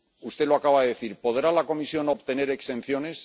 Usted lo acaba de decir ¿Podrá la Comisión obtener exenciones?